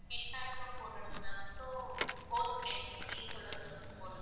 Net pack க்கும் போடணும் ma'am. So, both ரெண்டு scheme சொல்லுங்க ma'am.